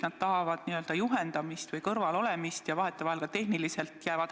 Nad tahavad juhendamist, kõrval olemist ja vahetevahel jäävad ka tehniliselt hätta.